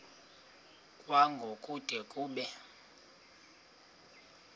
kwango kude kube